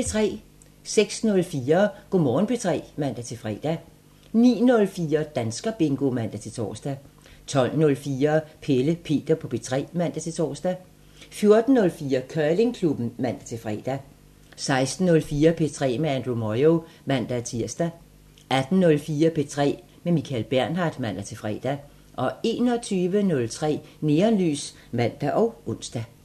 06:04: Go' Morgen P3 (man-fre) 09:04: Danskerbingo (man-tor) 12:04: Pelle Peter på P3 (man-tor) 14:04: Curlingklubben (man-fre) 16:04: P3 med Andrew Moyo (man-tir) 18:04: P3 med Michael Bernhard (man-fre) 21:03: Neonlys (man og ons)